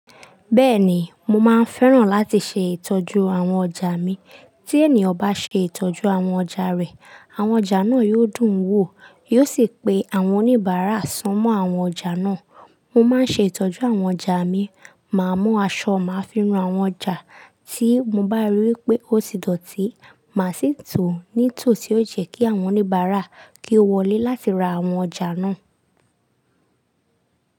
Bẹ́ẹ̀ni, mo máa ń fẹ́ràn láti ṣe ìtọ́jú àwọn ọjà mi. Tí ẹni ọ̀ bá ṣe ìtọ́jú àwọn ọjà rẹ̀, àwọn ọjà náà yóò dùn wò, yóò sì pe àwọn oníbàárà sunmọ́ àwọn ọjà náà. Mo máa ń ṣe ìtọ́jú àwọn ọjà mi, màá mú aṣọ, màá fi nú àwọn ọjà tí mo bá rí wí pé ó ti dọ̀tí, màá sì tò ó ní tò tí yóò jẹ́ kí àwọn oníbàárà kí ó wọlé láti ra àwọn ọjà náà.